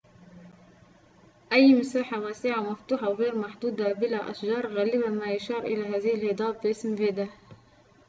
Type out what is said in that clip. غالباً ما يشار إلى هذه الهضاب باسم vidde أي مساحة واسعة ومفتوحة وغير محدودة بلا أشجار